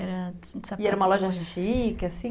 E era uma loja chique, assim?